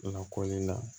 Lakɔli la